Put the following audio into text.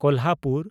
Kolhapur